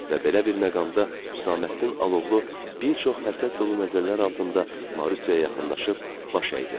Və belə bir məqamda Hüsamməddin Alovlu bir çox həsəd dolu nəzərlər altında Marusyaya yaxınlaşıb baş əydi.